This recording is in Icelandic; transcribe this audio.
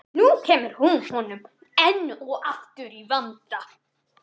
Nú kemur hún honum enn og aftur í vanda.